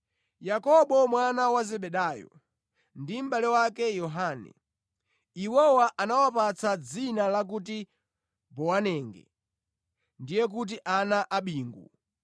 Yakobo mwana wa Zebedayo, ndi mʼbale wake Yohane (iwowa anawapatsa dzina lakuti Bowanege, ndiye kuti ana a bingu);